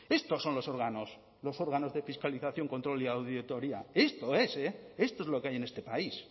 estos son los órganos los órganos de fiscalización control y auditoría esto es esto es lo que hay en este país